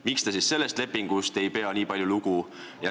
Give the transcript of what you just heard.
Miks te siis sellest lepingust nii palju lugu ei pea?